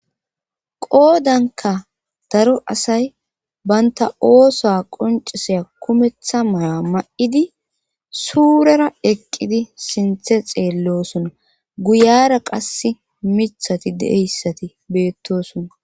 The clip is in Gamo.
Qoodankka daro asay bantta oosuwa qonccisiya kumetta mayuwa may7idi suurera eqqidi sinthe xeelloosona;guyara qassi miyhathi de7eyssati beettoosona.